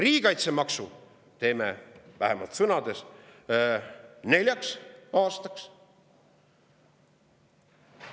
Riigikaitsemaksu teeme vähemalt sõnades neljaks aastaks.